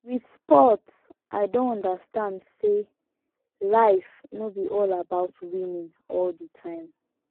with sport i don understand sey life no be all about winning all the time